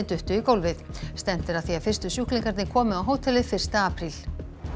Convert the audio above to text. duttu í gólfið stefnt er að því að fyrstu sjúklingarnir komi á hótelið fyrsta apríl